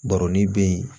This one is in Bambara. Baro ni be yen